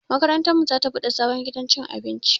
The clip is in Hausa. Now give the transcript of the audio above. Makarantar mu za ta buɗe sabon gidan cin abinci